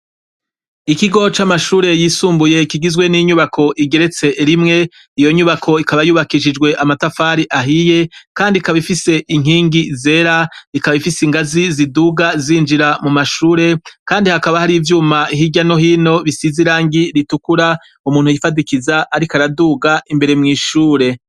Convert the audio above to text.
Ikigo c’amashure yisumbuye kigizwe n’inyubako igeretswe rimwe iyo nyubako ikaba yubakishijwe amatafari ahiye ikaba ifise inkingi zera ingazi ziduga zinjira mu mashure kandi hakaba hari ivyuma hirya no hino bisize irangi ritukura umuntu yifadikoza umuntu ariko araduga imbere mw’ishure.